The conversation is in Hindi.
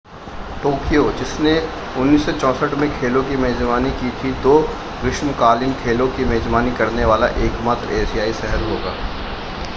टोक्यो जिसने 1964 में खेलों की मेजबानी की थी दो ग्रीष्मकालीन खेलों की मेजबानी करने वाला एकमात्र एशियाई शहर होगा